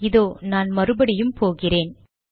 இதோ நான் மறுபடியும் போகிறேன்